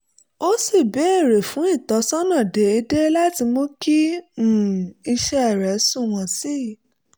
ó sì béèrè fún ìtọ́sọ́nà déédéé láti mú kí um iṣẹ́ rẹ̀ sunwọ̀n sí i